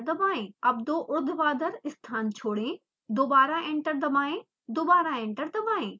अब दो ऊर्ध्वाधर स्थान छोड़ें दोबारा एंटर दबाएं दोबारा एंटर दबाएं